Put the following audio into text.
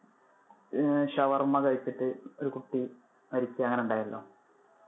ഏർ ഷവർമ കഴിച്ചിട്ട് ഒരു കുട്ടി മരിക്ക അങ്ങനെ ഉണ്ടായിരുന്നല്ലോ.